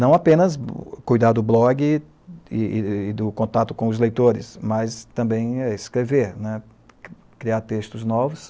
Não apenas cuidar do blog e do contato com os leitores, mas também é escrever, né, criar textos novos.